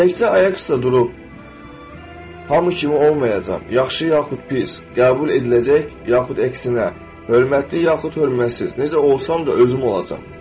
Təkcə ayaq üstə durub hamı kimi olmayacam, yaxşı yaxud pis, qəbul ediləcək, yaxud əksinə hörmətli, yaxud hörmətsiz, necə olsam da özüm olacam.